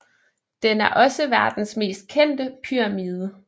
Den er også verdens mest kendte pyramide